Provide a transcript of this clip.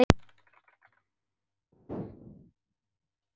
Kristín var kölluð Didda.